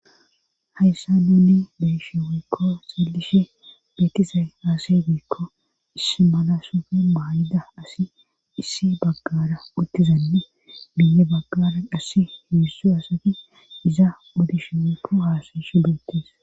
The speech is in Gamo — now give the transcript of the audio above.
hayssa nunni beshe wiikko xelishe beetise haase beekko is malasofi maayida asi issi baggara uttizanni biye baggara qassi hiussu asati iza uddishe meefu haasashu deottes